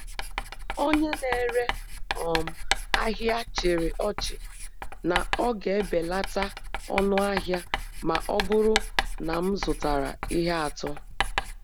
Onye na-ere um ahịa chịrị ọchị na ọ ga-ebelata ọnụ ahịa ma ọ bụrụ na m zụtara ihe atọ.